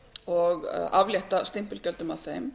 og aflétta stimpilgjöldum af þeim